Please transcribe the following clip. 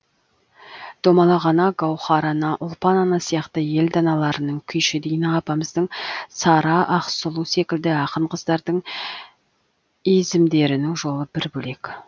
домалақ ана гауһар ана ұлпан ана сияқты ел даналарының күйші дина апамыздың сара ақсұлу секілді ақын қыздардың изімдерінің жолы бір бөлек